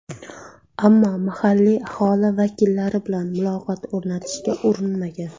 Ammo mahalliy aholi vakillari bilan muloqot o‘rnatishga urinmagan.